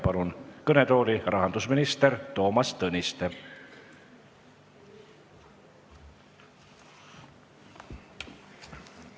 Palun kõnetooli rahandusminister Toomas Tõniste!